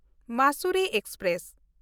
Mussoorie express